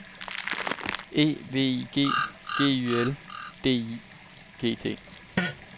E V I G G Y L D I G T